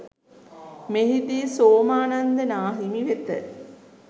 මෙහිදී සෝමානන්ද නාහිමි වෙත